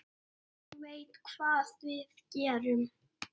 Ég veit hvað við gerum!